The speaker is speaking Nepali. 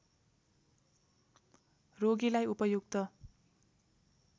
रोगीलाई उपयुक्त